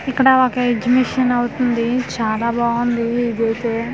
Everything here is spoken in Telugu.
ఇక్కడ ఒక ఎగ్జిబిషన్ అవుతుంది చాలా బాగుంది ఇదైతే.